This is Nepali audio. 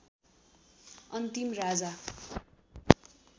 अन्तिम राजा